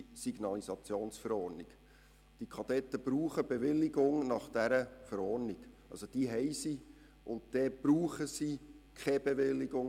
Gemäss dieser Verordnung brauchen die Verkehrskadetten keine Bewilligung.